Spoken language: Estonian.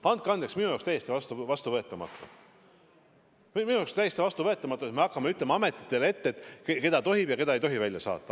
Andke andeks, minu jaoks on see täiesti vastuvõetamatu, et me hakkame ütlema ametitele ette, keda tohib ja keda ei tohi välja saata.